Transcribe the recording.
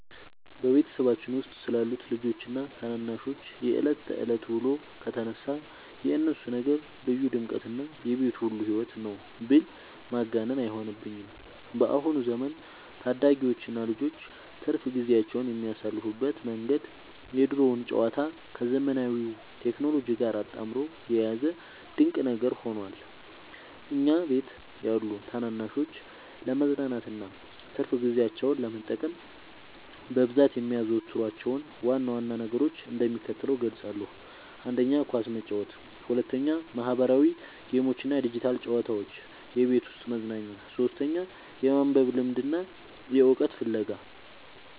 በቤተሰባችን ውስጥ ስላሉት ልጆችና ታናናሾች የዕለት ተዕለት ውሎ ከተነሳ፣ የእነሱ ነገር ልዩ ድምቀትና የቤቱ ሁሉ ሕይወት ነው ብል ማጋነን አይሆንብኝም። በአሁኑ ዘመን ታዳጊዎችና ልጆች ትርፍ ጊዜያቸውን የሚያሳልፉበት መንገድ የድሮውን ጨዋታ ከዘመናዊው ቴክኖሎጂ ጋር አጣምሮ የያዘ ድንቅ ነገር ሆኗል። እኛ ቤት ያሉ ታናናሾች ለመዝናናትና ትርፍ ጊዜያቸውን ለመጠቀም በብዛት የሚያዘወትሯቸውን ዋና ዋና ነገሮች እንደሚከተለው እገልጻለሁ፦ 1. ኳስ መጫወት 2. ማኅበራዊ ጌሞችና ዲጂታል ጨዋታዎች (የቤት ውስጥ መዝናኛ) 3. የማንበብ ልምድና የዕውቀት ፍለጋ